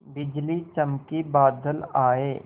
बिजली चमकी बादल आए